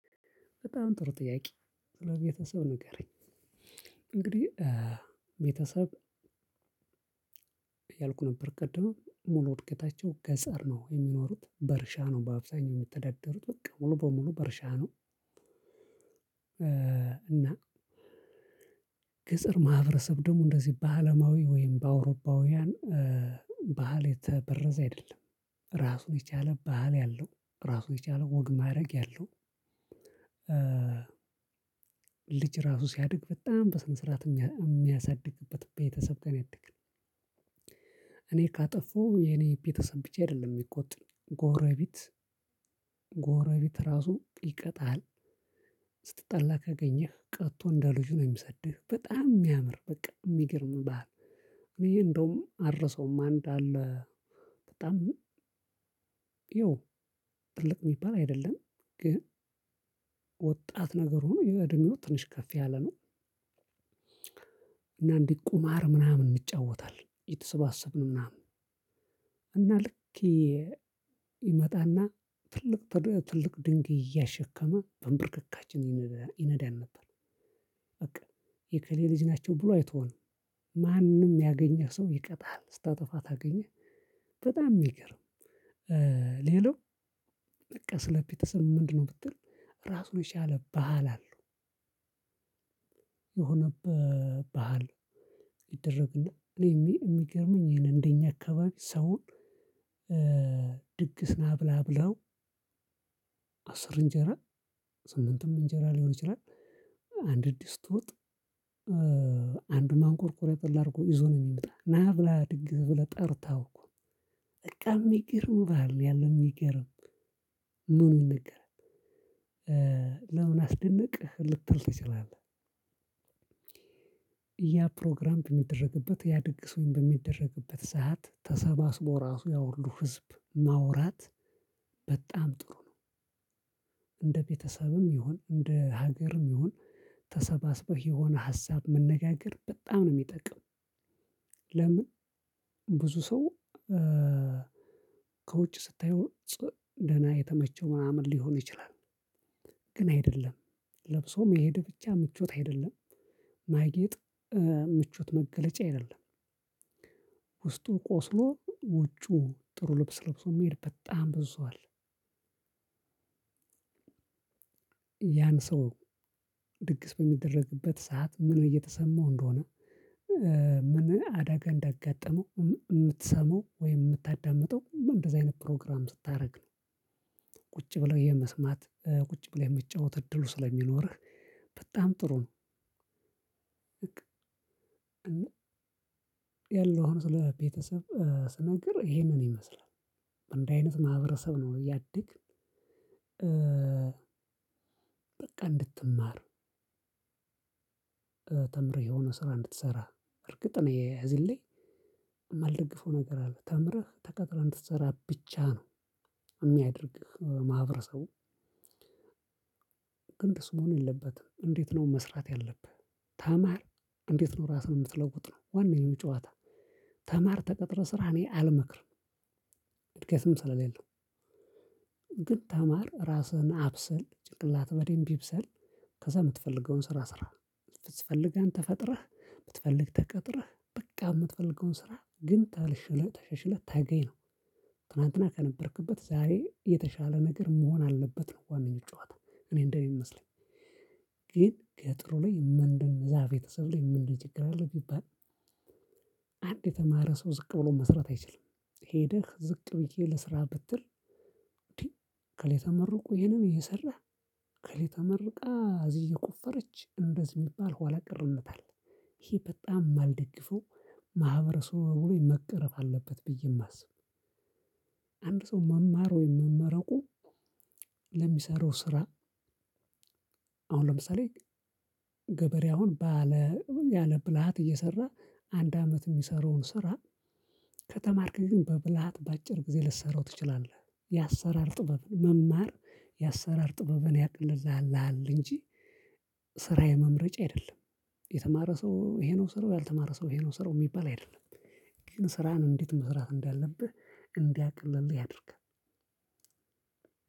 በጣም ጥሩ ጥያቄ ስለቤተሰብ ንገረኝ። እንግዲህ ቤተሰብ እያልኩ ነበር ቅድም ሙሉ ዕድገታቸው ገጸር ነው የሚኖሩት በእርሻ ነው በአብዛኛው የሚተዳደሩት በቃ ሙሉ በሙሉ በእርሻ ነው። እና ገጸር ማህበረሰብ ደሞ እንደዚህ በአለማዊ ወይም በአውሮፓውያን ባህል የተበረዘ አይደለም። ራሱን የቻለ ባህል ያለው ራሱን የቻለ ወግ ማረግ ያለው። ልጅ ራሱ ሲያድግ በጣም በስነ ስርዓት የሚያሳድግበት ቤተሰብ ጋ ነው ያደግነ። እኔ ካጠፋው የኔ ቤተሰብ ብቻ አይደለም የሚቆጡኝ ጎረቤት። ራሱ ይቀጣሃል። ስትጣላ ከገኘህ ቀጥቶ እንደ ልጁ ነው የሚሰድህ በጣም የሚያምር በቃ የሚገርም ባህል። እኔ እንደውም አልረሳውም አንድ አለ። በጣም ይኸው ትልቅ የሚባል አይደለም። ግን ወጣት ነገር ሆኖ ይሄ እድሜው ትንሽ ከፍ ያለ ነው። እና እንዲህ ቁማር ምናምን እንጫወታለን እየተሰባሰብን ምናምን እና ልክ ይመጣና ትልቅ ትልቅ ድንጋይ እያሸከመ በንብርክካችን ይነዳ ይነዳን ነበር። በቃ የእከሌ ልጅ ናቸው ብሎ አይተውንም። ማንም ያገኘህ ሰው ይቀጥሃል ስታጠፋ ታገኘህ በጣም የሚገርም። ሌላው በቃ ስለ ቤተሰብ ምንድነው? ብትል ራሱን የቻለ ባህል አለው። የሆነ ባህል ይደረግና እኔ የሚገርመኝ ይሄን እንደኛ አካባቢ ሰውን ድግስ ና ብላ ብለው አስር እንጀራ ስምንትም እንጀራ ሊሆን ይችላል። አንድ ድስት ወጥ አንዱ ማንቆርቆሪያ ጠላ አድርጎ ይዞ ነው የሚመጣ ና ብላ ድግስ ብለህ ጠርተኸው እኮ ነው። በቃ የሚገርም ባህል ነው ያለን የሚገርም። ምኑ ይነገራል። ለምን አስደነቀህ ልትል ትችላለህ? ያ ፕሮግራም በሚደረግበት ያ ድግስ ወይም በሚደረግበት ሰዓት ተሰባስቦ ራሱ ያሁሉ ህዝብ ማውራት በጣም ጥሩ ነው። እንደ ቤተሰብም ይሁን እንደ ሀገርም ይሁን። ተሰባስበህ የሆነ ሀሳብ መነጋገር በጣም ነው የሚጠቅም። ለምን ብዙ ሰው ከውጭ ስታየው ደህና የተመቸው ምናምን ሊሆን ይችላል። ግን አይደለም። ለብሶ መሄድ ብቻ ምቾት አይደለም። ማጌጥ ምቾት መገለጫ አይደለም። ውስጡ ቆስሎ ውጩ ጥሩ ልብስ ለብሶ የሚሄድ በጣም ብዙ አለ። ያን ሰው ድግስ በሚደረግበት ሰዓት ምን እየተሰማው እንደሆነ ምን አዳጋ እንዳገጠመው የምትሰማው ወይም የምታዳምጠው እንደዚህ አይነት ፕሮግራም ስታረግ ነው። ቁጭ ብለህ የመስማት ቁጭ ብለህ የመጫወት እድሉ ስለሚኖርህ በጣም ጥሩ ነው። ያለሁን ስለ ቤተሰብ ስነግርህ ይሄንን ይመስላል። አንድ አይነት ማህበረሰብ ነው ያደግን። በቃ እንድትማር ተምረህ የሆነ ስራ እንድትሰራ እርግጥ ነው የዚህን ላይ የማልደግፈው ነገር አለ ተምረህ ተቀጥረህ እንድትሰራ ብቻ ነው የሚያደርግህ ማህበረሰቡ። ግን እንደሱ መሆን የለበትም። እንዴት ነው መስራት ያለብህ? ተማር እንዴት ነው ራስህን የምትለውጥ ነው ዋናዬ ጨዋታ ተማር ተቀጥረህ ስራ እኔ አልመክርም። እድገትም ስለሌለው ግን ተማር ራስህን አብስል ጭቅላትህ በዴም ይብሰል። ከዛ የምትፈልገውን ስራ ስራ ብትፈልግ አንተ ፈጥረህ ብትፈልግ ተቀጥረህ በቃ የምትፈልገውን ስራ ግን ተሽለህ ተሸሽለህ ተገኝ ነው። ትናትና ከነበርክበት ዛሬ የተሻለ ነገር መሆን አለበት ነው ዋናው ጨዋታ። እኔ እንደምመስለኝ። ግን ከጥሩ ላይ ምንድነው? ዛ ቤተሰብ ላይ ምንድነው? ችግር አለ ቢባል አንድ የተማረ ሰው ዝቅ ብሎ መስራት አይችልም። ሄደህ ዝቅ ብዬ ልስራ ብትል እንዴ እክሌ ይሄንም እየሰራ ከሌተመርቃ እዚህ እየቆፈረች እንደዚህ የሚባል ኋላቀር እምነት አለ። ይሄ በጣም የማልደግፈው ማህበረሰቡ ላይ መቀረፍ አለበት ብዬ የማስብ። አንድ ሰው መማር ወይም መመረቁ ለሚሰራው ስራ አሁን ለምሳሌ ገበሬ አሁን ባለ ያለ ብልሃት እየሰራ አንድ አመት የሚሰራውን ስራ። ከተማርክ ግን በብልሃት በአጭር ጊዜ ልትሰራው ትችላለህ። የአሰራር ጥበብን መማር የአሰራር ጥበብን ያቀልልሃል እንጂ ስራ የመምረጫ አይደለም። የተማረ ሰው ይሄ ነው ስራው ያልተማረ ሰው ይሄ ነው ስራው የሚባል አይደለም። ግን ስራህን እንዴት መስራት እንዳለብህ እንዲያቀለልህ ያድርጋል።